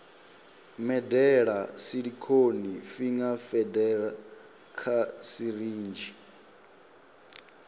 medela silicone finger feeder kha sirinzhi